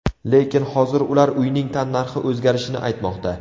Lekin hozir ular uyning tannarxi o‘zgarishini aytmoqda.